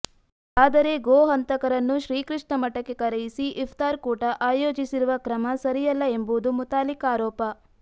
ಆದರೆ ಗೋ ಹಂತಕರನ್ನು ಶ್ರೀಕೃಷ್ಣ ಮಠಕ್ಕೆ ಕರೆಯಿಸಿ ಇಫ್ತಾರ್ ಕೂಟ ಆಯೋಜಿಸಿರುವ ಕ್ರಮ ಸರಿಯಲ್ಲ ಎಂಬುದು ಮುತಾಲಿಕ್ ಆರೋಪ